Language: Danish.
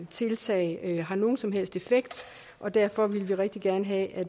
tiltag har nogen som helst effekt og derfor ville vi rigtig gerne have at